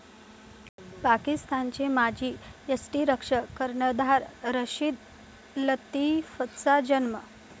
पाकिस्तानचे माजी यष्टिरक्षक, कर्णधार रशीद लतिफचा जन्म.